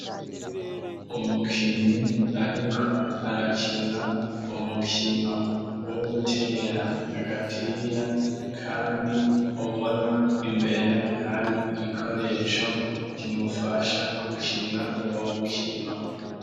Umukinyi ariko arakina umukino wo gutera agapira kandi ubona imbere hari igikoresho kimufasha gukina uwo mukino.